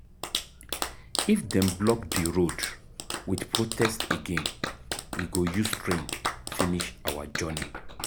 If dem block di road wit protest again, we go use train finish our journey.